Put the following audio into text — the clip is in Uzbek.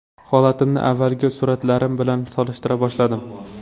Holatimni avvalgi suratlarim bilan solishtira boshladim.